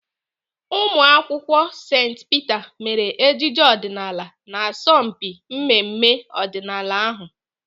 Ụmụakwụkwọ St Peter mere ejije ọdịnaala n'asọmpi mmemme ọdịnala ahụ.